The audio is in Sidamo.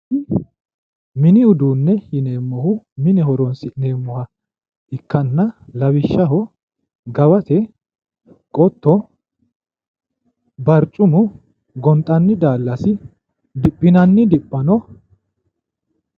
mini uduunne yineemmohu mine horonsi'neemmoha ikkanna lawishshaho gawate qotto barchimu gonxanni daallasi diphinanni diphano